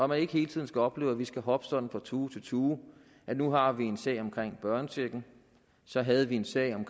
man ikke hele tiden skal opleve at vi skal hoppe sådan fra tue til tue nu har vi en sag om børnechecken så havde vi en sag om